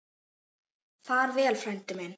Far vel, frændi minn.